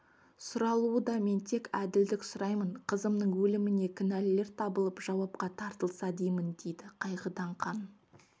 сұралуда мен тек әділдік сұраймын қызымның өліміне кінәлілер табылып жауапқа тартылса деймін дейді қайғыдан қан